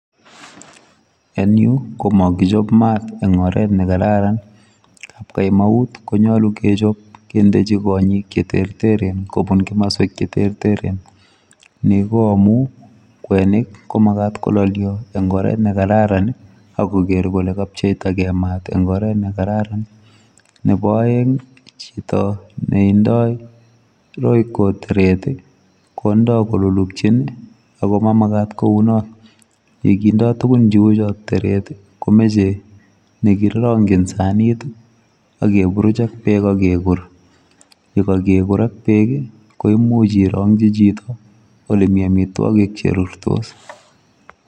En yuu ko mokichop maat en oret nekararan kamaut konyolu kechob kindechi konyik cheterteren kobun komoswek cheterteren Nii ko amun kwenik ko makat kololyo en oret nekararan ak koker kole kapcheita gee maat en oret nekararan. Nebo oengi chito neindoi royco teret tii kondoi koluluchin nii ako mamakat kounon, yekindo tukun cheu chon teret tii ko moche nekirongin sanit ak keburuch ak beek ak kekur, yekokekur ak beek ko imuch irongi chito ole mii omitwokik cherurtos.